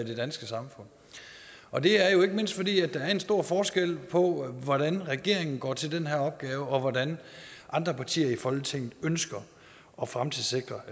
det danske samfund og det er jo ikke mindst fordi der er en stor forskel på hvordan regeringen går til den her opgave og hvordan andre partier i folketinget ønsker at fremtidssikre